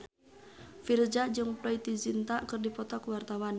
Virzha jeung Preity Zinta keur dipoto ku wartawan